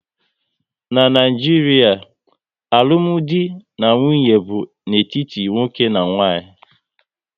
N'Naijiria, alụmdi na nwunye bụ n'etiti nwoke na nwaanyị